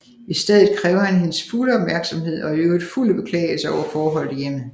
I stedet kræver han hendes fulde opmærksomhed og er i øvrigt fuld af beklagelser over forholdene i hjemmet